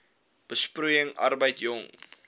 besproeiing arbeid jong